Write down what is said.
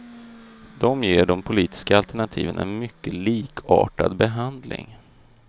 De ger de politiska alternativen en mycket likartad behandling.